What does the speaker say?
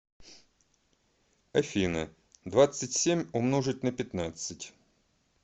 афина двадцать семь умножить на пятнадцать